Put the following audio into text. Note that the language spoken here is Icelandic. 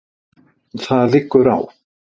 Það liggur á